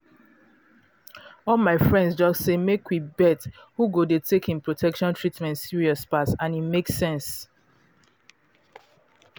all my friends just say make we bet who go dey take em protection treatment serious pass and e make sense